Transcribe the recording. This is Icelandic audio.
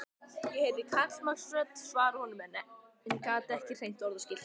Ég heyrði karlmannsrödd svara honum en gat ekki greint orðaskil.